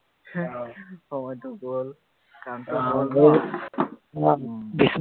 সময়টো গল কামটো হল অ